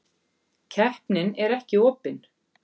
Keppnin er ekki opin.